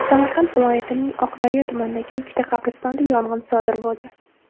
Samarqand viloyatining Oqdaryo tumanidagi ikkita qabristonda yong‘in sodir bo‘ldi.